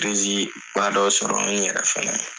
badɔ sɔrɔ n yɛrɛ fana ye.